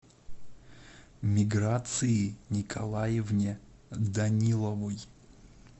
миграции николаевне даниловой